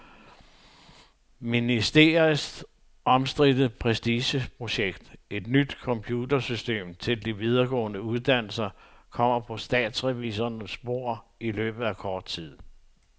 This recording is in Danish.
Ministeriets omstridte prestigeprojekt, et nyt computersystem til de videregående uddannelser, kommer på statsrevisorernes bord i løbet af kort tid.